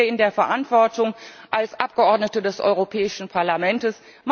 Wir stehen hier in der Verantwortung als Abgeordnete des Europäischen Parlamentes.